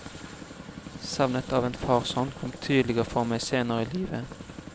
Savnet av en farshånd kom tydeligere for meg senere i livet.